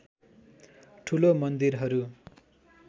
ठूलो मन्दिरहरू